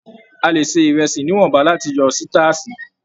A lè ṣe ìrẹsì níwọ̀nba láti yọ sitaasi.